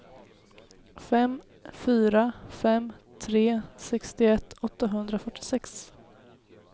fem fyra fem tre sextioett åttahundrafyrtiosex